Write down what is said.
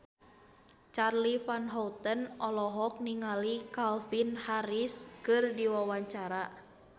Charly Van Houten olohok ningali Calvin Harris keur diwawancara